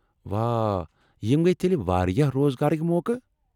واہ! یِم گیہ تیلہِ واریاہ روزگارٕكۍ موقعہٕ۔